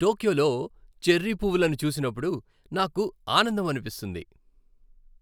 టోక్యోలో cherry పువ్వులను చూసినప్పుడు నాకు ఆనందం అనిపిస్తుంది.